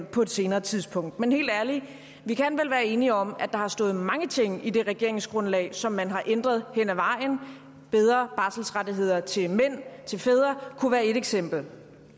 på et senere tidspunkt men helt ærligt vi kan vel være enige om at der har stået mange ting i det regeringsgrundlag som man har ændret hen ad vejen bedre barselsrettigheder til fædre kunne være et eksempel